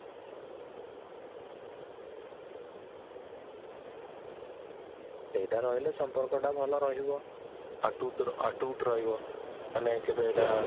ସେଇଟା ରହିଲେ ସମ୍ପର୍କଟା ଭଲ ରହିବ ରହିବ ମାନେ କେଭେ ଏଇଟା